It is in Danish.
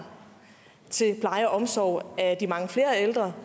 omsorg af de mange flere ældre